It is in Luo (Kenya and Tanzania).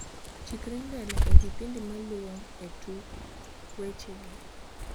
chikri mbele e kipindi maluo e tuk weche gi